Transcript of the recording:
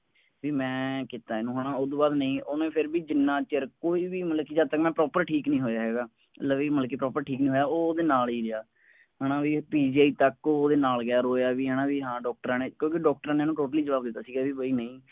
ਵੀ ਮੈਂ ਕਿੱਤਾ ਓਹਨੂੰ ਹੈ ਨਾ ਉਸਤੋਂ ਬਾਅਦ ਨਹੀਂ ਓਹਨੇ ਫੇਰ ਵੀ ਜਿੰਨਾ ਚਿਰ ਕੋਈ ਵੀ ਮਤਲਬ ਕਿ ਜਦ ਤੱਕ ਨਾ ਠੀਕ ਨਹੀਂ ਹੋਇਆ ਹੈਗਾ ਲਵੀ ਮਤਲਬਠੀਕ ਨਹੀਂ ਹੋਇਆ ਹੈਗਾ ਉਹ ਓਹਦੇ ਨਾਲ ਹੀ ਰਿਹਾ ਹੈ ਨਾ ਬਈਤੱਕ ਓਹੋ ਓਹਦੇ ਨਾਲ ਗਿਆ ਰੋਇਆ ਵੀ ਹੈ ਨਾ ਵੀ ਹਾਂ ਵੀ ਡਾਕਟਰਾਂ ਨੇ ਕਿਉਂਕਿ ਡਾਕਟਰਾਂ ਨੇ ਓਹਨੂੰ ਜਵਾਬ ਦੇ ਤਾ ਸੀ ਬਈ ਨਹੀਂ